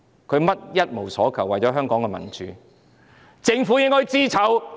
他們一無所求，只是為了香港的民主，政府應該感到羞耻。